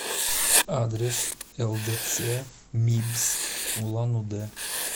адрес лдц мибс улан удэ